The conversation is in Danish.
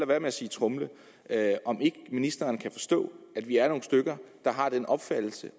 være med at sige tromle om ikke ministeren kan forstå at vi er nogle stykker der har den opfattelse